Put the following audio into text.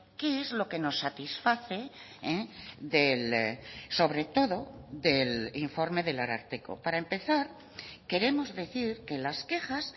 qué es lo que nos satisface sobre todo del informe del ararteko para empezar queremos decir que las quejas